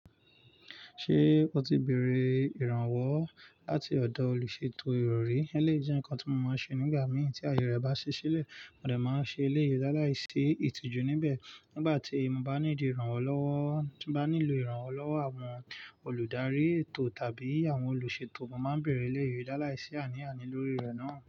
Ṣé o ti bèrè ìrànwọ́ láti ọ̀dọ̀ olùṣètò ìrọ̀rí? É lé jẹ́ nǹkan tí mo máa ń ṣe nígbà mìí tí àyè rẹ̀ bá ṣí sílẹ̀. Mo lè máa ṣe iléèdàláìsí ìtìjú níbẹ̀. Nígbà tí mo bá ní ní ìlò ìrànwọ́ lọ́wọ́ àwọn olùdarí ètò tàbí àwọn olùṣètò, mo máa ń bèrè iléèdàláìsí àní àní lórí rẹ̀ náà.